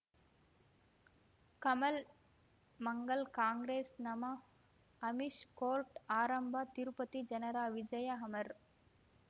ಕಮಲ್ ಮಂಗಳ್ ಕಾಂಗ್ರೆಸ್ ನಮಃ ಅಮಿಷ್ ಕೋರ್ಟ್ ಆರಂಭ ತಿರುಪತಿ ಜನರ ವಿಜಯ ಅಮರ್